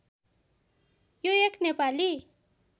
यो एक नेपाली